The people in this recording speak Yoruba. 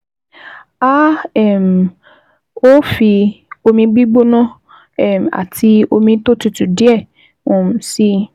A um ó fi omi gbígbóná um àti omi tó tutù díẹ̀ um sí i